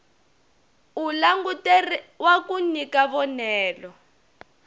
u languteriwa ku nyika vonelo